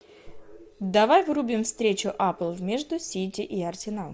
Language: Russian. давай врубим встречу апл между сити и арсеналом